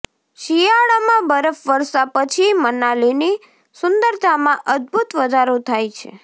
શિયાળામાં બરફવર્ષા પછી મનાલીની સુંદરતામાં અદભુત વધારો થાય છે